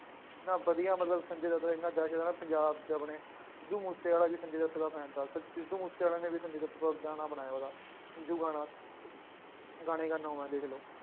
ਇੰਨਾ ਵਧੀਆ ਮਤਲਬ ਸੰਜੇ ਦੱਤ ਨੇ ਇੰਨਾ ਵੈਸੇ ਤਾਂ ਨਾ ਪੰਜਾਬ ਚ ਆਪਣੇ ਸਿੱਧੂ ਮੂਸੇਵਾਲਾ ਵੀ ਸੰਜੇ ਦੱਤ ਦਾ fan ਥਾ, ਸ ਸਿੱਧੂ ਮੂਸੇਵਾਲੇ ਨੇ ਵੀ ਸੰਜੇ ਦੱਤ ਤੇ ਗਾਣਾ ਬਣਾਇਆ ਉਹਦਾ ਸੰਜੂ ਗਾਣਾ ਗਾਣੇ ਗਾਨਾ ਦੇਖ ਲਓ।